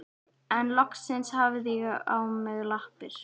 En loksins hafði ég mig á lappir.